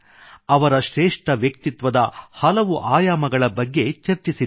ಅವರ ಶ್ರೇಷ್ಠ ವ್ಯಕ್ತಿತ್ವದ ಹಲವು ಆಯಾಮಗಳ ಬಗ್ಗೆ ಚರ್ಚಿಸಿದ್ದೇವೆ